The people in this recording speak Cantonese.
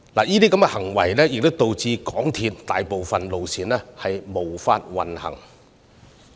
有關行為導致大部分鐵路線無法行駛。